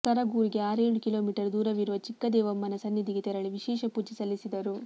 ಸರಗೂರಿಗೆ ಆರೇಳು ಕಿಲೋಮೀಟರ್ ದೂರವಿರುವ ಚಿಕ್ಕದೇವಮ್ಮನ ಸನ್ನಿಧಿಗೆ ತೆರಳಿ ವಿಶೇಷ ಪೂಜೆ ಸಲ್ಲಿಸಿದರು